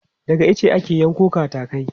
Daga ice ake yanko katakai.